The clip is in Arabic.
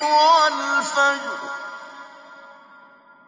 وَالْفَجْرِ